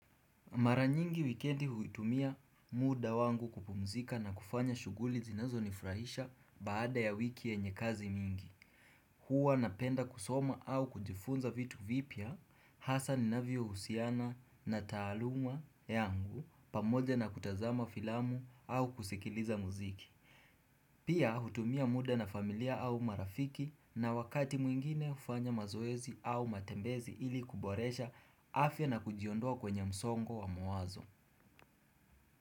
Maranyingi wikendi huitumia muda wangu kupumzika na kufanya shuguli zinazo nifrahisha baada ya wiki yenye kazi mingi. Huwa napenda kusoma au kujifunza vitu vipya, hasa ninavyo husiana na taaluma yangu pamoja na kutazama filamu au kusikiliza muziki. Pia hutumia muda na familia au marafiki na wakati mwingine ufanya mazoezi au matembezi ili kuboresha afya na kujiondoa kwenye msongo wa mawazo.